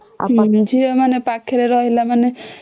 ଝିଅ ମାନେ ପାଖରେ ରହିଲା ମାନେ